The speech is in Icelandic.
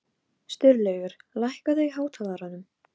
Sturlaugur, lækkaðu í hátalaranum.